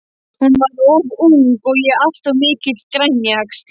Hún var of ung og ég alltof mikill grænjaxl.